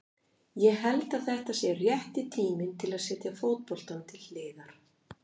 Ég held að þetta sé rétti tíminn til að setja fótboltann til hliðar.